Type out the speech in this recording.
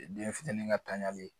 Den fitini ka tanyalen